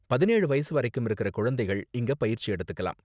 பதினேழு வயசு வரைக்கும் இருக்குற குழந்தைகள் இங்க பயிற்சி எடுத்துக்கலாம்.